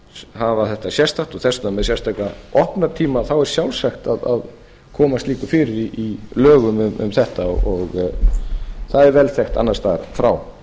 hafa þetta sérstakt og þess vegna með sérstaka opnunartíma þá er sjálfsagt að koma slíku fyrir í lögum um þetta það er vel þekkt annars staðar frá